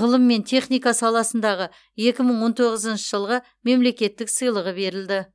ғылым мен техника саласындағы екі мың он тоғызыншы жылғы мемлекеттік сыйлығы берілді